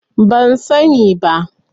Ban sani ba.